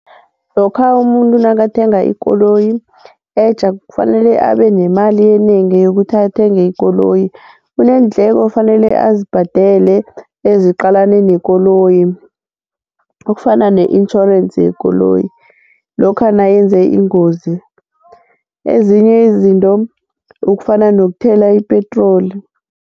Lokha umuntu nakathenga ikoloyi etja kufanele abenemali enengi yokuthi athenge ikoloyi, kuneendleko efanele azibhadele eziqalane nekoloyi, okufana ne-insurance yekoloyi lokha nayenze ingozi, ezinye izinto okufana nokuthela ipetroli.